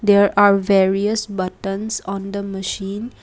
there are various buttons on the machine.